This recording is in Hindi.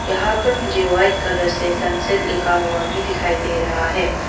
यहां पर मुझे वाइट कलर से सनसेट लिखा हुआ भी दिखाई दे रहा है।